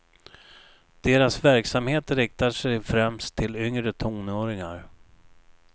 Deras verksamhet riktar sig främst till yngre tonåringar.